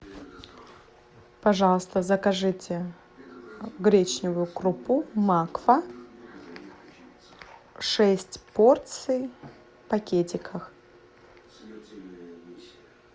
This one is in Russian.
пожалуйста закажите гречневую крупу макфа шесть порций в пакетиках